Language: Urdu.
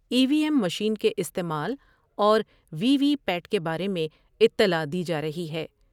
ایم مشین کے استعمال اور وی وی پیٹ کے بارے میں اطلاع دی جارہی ہے ۔